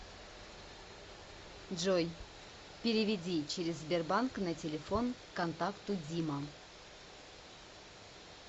джой переведи через сбербанк на телефон контакту дима